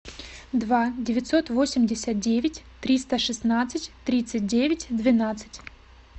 два девятьсот восемьдесят девять триста шестнадцать тридцать девять двенадцать